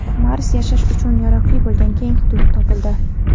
Marsda yashash uchun yaroqli bo‘lgan keng hudud topildi.